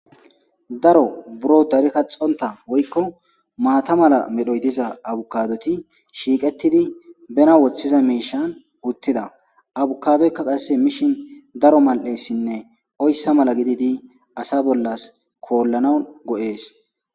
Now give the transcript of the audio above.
Daro buro dari kaxonta woykko maata mala medhoy diza abokadoti shiiqetidi bena woththiza miishshan uttida; abkadoyka qasse mishin daro mal'esinne oyssa mala gididi asa bollas koolanaw go'es.